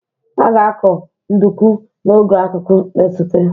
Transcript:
A ga-akọ nduku n'oge akuku na-esote